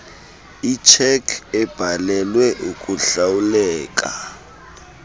itshekhi ebhalelwe ukuhlawuleka